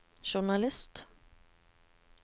journalist